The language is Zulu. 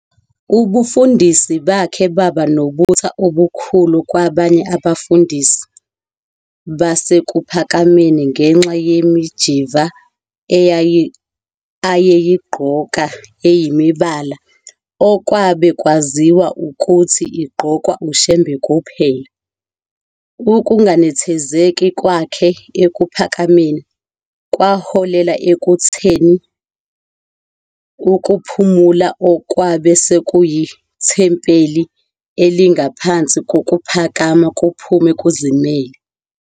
Ubufundisi bakhe baba nobutha obukhulu kwabanye abefundisi baseKuphakameni ngenxa yemijiva ayeyigqoka eyimibala okwabe kwaziwa ukuthi igqokwa uShembe kuphela. Ukunganethezeki kwakhe eKuphakameni kwaholela ekutheni uKuphumula okwabe sekuyithempeli elingaphansi kokuPhakama kuphume kuzimele.